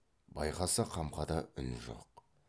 байқаса қамқада үн жоқ